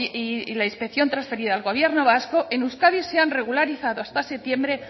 y la inspección transferida al gobierno vasco en euskadi se han regularizado hasta septiembre